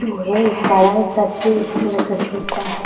बड़ा में सब चीज़ थोड़ा सा छोटा है |